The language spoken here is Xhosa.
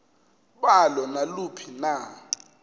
balo naluphi na